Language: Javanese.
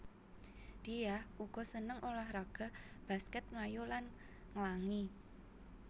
Diah uga seneng ulah raga baskèt mlayu lan nglangi